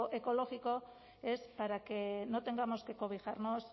ecológico es para que no tengamos que cobijarnos